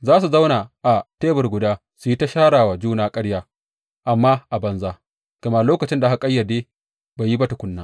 Za su zauna a tebur guda su yi ta shara wa juna ƙarya, amma a banza, gama lokacin da aka ƙayyade bai yi ba tukuna.